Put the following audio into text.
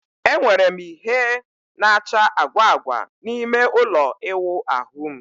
Enwere m ìhè na-acha agwa agwa n'ime ụlọ ịwụ ahu m.